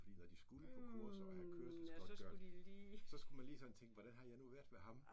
Fordi når de skulle på kurser og havde kørselsgodtgør så skulle man lige sådan tænke hvordan har jeg nu været ved ham